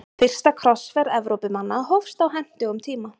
Fyrsta krossferð Evrópumanna hófst á hentugum tíma.